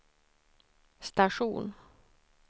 station